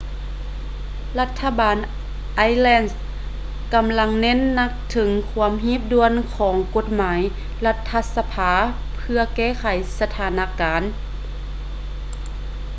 ລັດຖະບານໄອແລນ irish ກຳລັງເນັ້ນໜັກເຖິງຄວາມຮີບດ່ວນຂອງກົດໝາຍລັດຖະສະພາເພື່ອແກ້ໄຂສະຖານະການ